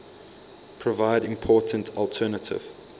provide important alternative